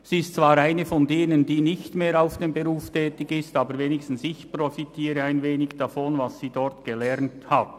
Sie gehört zwar zu denen, die nicht mehr in diesem Beruf tätig sind, aber wenigstens profitiere ich ein wenig von dem, was sie dort gelernt hat.